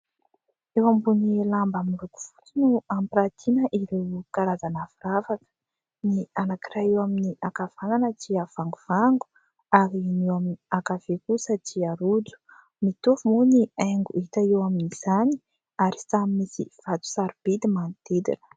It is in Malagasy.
Eo ambon'ny lamba miloko fotsy no ampirantiana ireo karazana firavaka : ny anankiray eo amin'ny ankavanana dia vangovango ary ny eo amin'ny ankavia kosa dia rojo. Mitovy moa ny haingo hita eo amin'izany ary samy misy vato sarobidy manodidina.